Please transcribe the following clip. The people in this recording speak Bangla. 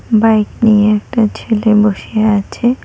বাইক নিয়ে একটা ছেলে বসে আছে।